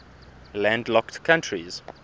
landlocked countries